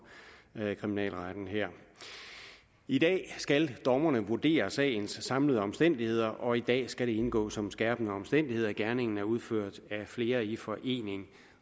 kriminalretten her i dag skal dommerne vurdere sagens samlede omstændigheder og i dag skal det indgå som en skærpende omstændighed at gerningen er udført af flere i forening